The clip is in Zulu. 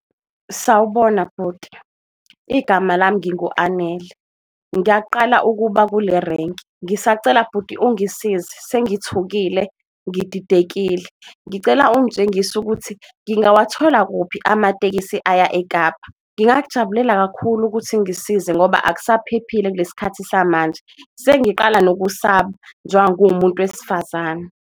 Sawubona bhuti igama lami ngingu-Anele ngiyaqala ukuba kule renki ngisacela bhuti ungisize sengithukile, ngididekile ngicela ungitshengise sokuthi ngingawathola kukuphi amatekisi aya eKapa. Ngingakujabulela kakhulu ukuthi ngisize ngoba akusaphephile kulesi skhathi samanje, sengiqala nokusaba njengoba nguwumuntu wesifazane.